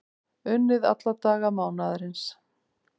Unnið alla daga mánaðarins